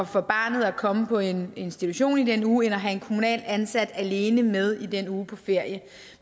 for barnet at komme på en institution i den uge end at have en kommunalt ansat alene med i den uge på ferie